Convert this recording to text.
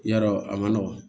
Yarɔ a man nɔgɔn